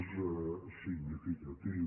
és significatiu